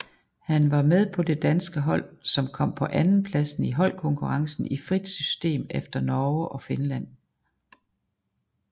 Han var med på det danske hold som kom på andenpladsen i holdkonkurrencen i frit system efter Norge og Finland